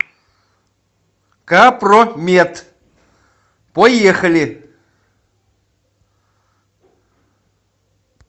капромет поехали